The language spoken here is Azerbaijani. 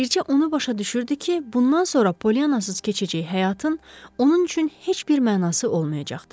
Bircə onu başa düşürdü ki, bundan sonra Polyannasız keçəcək həyatın onun üçün heç bir mənası olmayacaqdı.